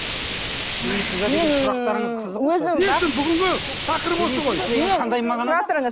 ой бүгінгі тақырып осы ғой